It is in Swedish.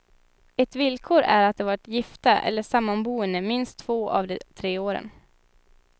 Ett villkor är att de varit gifta eller sammanboende minst två av de tre åren.